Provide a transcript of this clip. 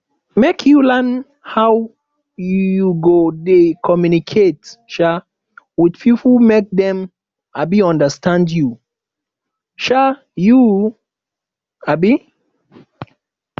make you learn how you go dey communicate um wit pipo make dem um understand you um you um